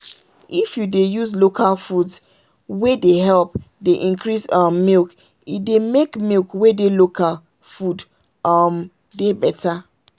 if you dey use local foods wey dey help dey increase um milk e dey make milk wey dey local food um dey better.